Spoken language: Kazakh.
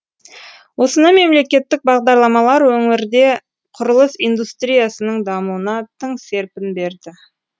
осындай мемлекеттік бағдарламалар өңірде құрылыс индустриясының дамуына тың серпін берді